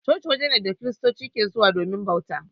Coci wuri ne da kristoci ke zuwa domin bauta.